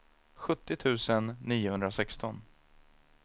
sjuttio tusen niohundrasexton